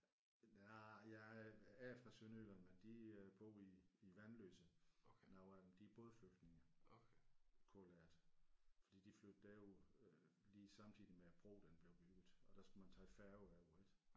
Nej jeg er fra Sønderjylland men de øh bor i i Vanløse nogle af dem de er bådflygtninge kalder jeg det fordi de flyttede derover øh lige samtidig med at broen den blev bygget og der skulle man tage færgen over ik